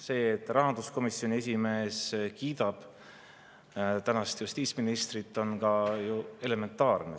See, et rahanduskomisjoni esimees kiidab tänast justiitsministrit, on ka ju elementaarne.